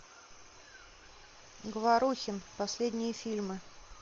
говорухин последние фильмы